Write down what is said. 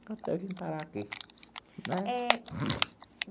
Até eu vim parar aqui né.